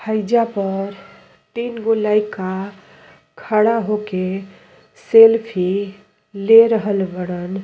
हईजा पर तीन गो लइका खड़ा होके सेल्फी ले रहल बाड़न।